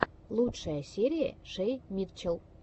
лучшая серия шей митчелл